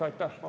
Aitäh!